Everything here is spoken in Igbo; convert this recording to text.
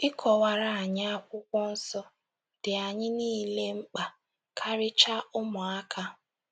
Ịkọwara anyị Akwụkwọ Nsọ dị anyị niile mkpa, karịchaa, ụmụaka.